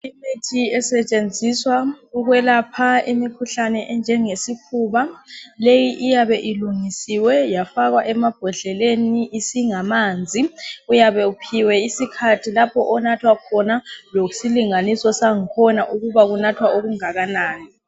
Imithi esetshenziswa ukuyelapha imikhuhlane enjenge sifuba keyi iyabe ilungisiwe yafakwa emabhodleleni uyabe uphiwe isikhathi lapha onathwa khona lesilinganiso sakhona ukuthi unathwa ongakanani